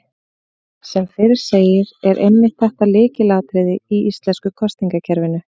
Sem fyrr segir er einmitt þetta lykilatriði í íslenska kosningakerfinu.